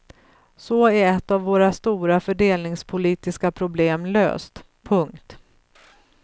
Så är ett av våra stora fördelningspolitiska problem löst. punkt